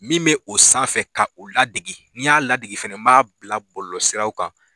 Min bɛ o sanfɛ k'o ladege ni n y'a ladege fana n b'a bila bɔlɔlɔsiraw kan